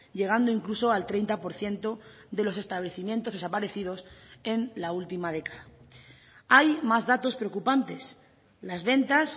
llegando incluso al treinta por ciento de los establecimientos desaparecidos en la última década hay más datos preocupantes las ventas